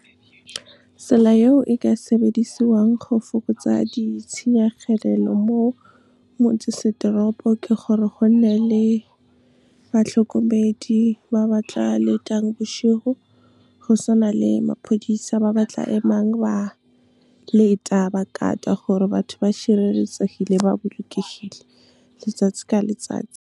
Tsela eo e ka sebedisiwang go fokotsa ditshenyegelelo mo motsesetoropo, ke gore go nne le batlhokomedi ba ba tla letang bošego, go se na le maphodisa ba ba tla emang ba leta ba guard-a gore batho ba šireletsegile ba bolokehile letsatsi ka letsatsi. Tsela eo e ka sebedisiwang go fokotsa ditshenyegelelo mo motsesetoropo, ke gore go nne le batlhokomedi ba ba tla letang bošego, go se na le maphodisa ba ba tla emang ba leta ba guard-a gore batho ba šireletsegile ba bolokehile letsatsi ka letsatsi.